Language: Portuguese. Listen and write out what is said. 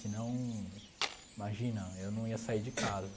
Se não, imagina, eu não ia sair de casa.